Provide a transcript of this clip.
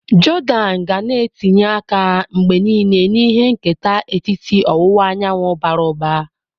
Jordan ga na etinye aka mgbe niile na ihe nketa etiti ọwụwa anyanwụ bara ụba.